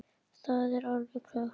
Það er alveg klárt.